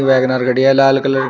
Wagon R गाड़ी है लाल कलर की।